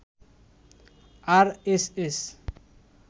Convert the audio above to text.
RSS